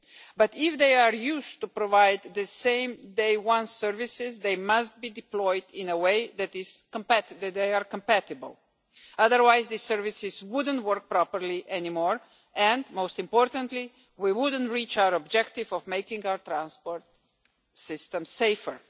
But if they are used to provide the same day one services they must be deployed in a way that is compatible, otherwise the services wouldn't work properly any more, and, most importantly, we wouldn't reach our objective of making our transport system safer.